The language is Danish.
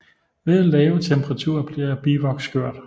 Ved lave temperaturer bliver bivoks skørt